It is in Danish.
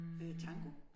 Øh tango?